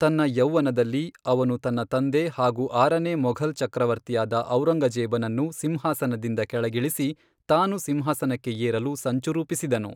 ತನ್ನ ಯೌವನದಲ್ಲಿ, ಅವನು ತನ್ನ ತಂದೆ ಹಾಗೂ ಆರನೇ ಮೊಘಲ್ ಚಕ್ರವರ್ತಿಯಾದ ಔರಂಗಜೇಬನನ್ನು ಸಿಂಹಾಸನದಿಂದ ಕೆಳಗಿಳಿಸಿ, ತಾನು ಸಿಂಹಾಸನಕ್ಕೆ ಏರಲು ಸಂಚು ರೂಪಿಸಿದನು.